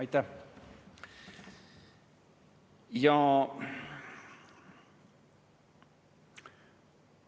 Aitäh!